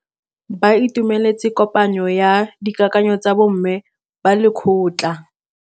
Ba itumeletse kôpanyo ya dikakanyô tsa bo mme ba lekgotla.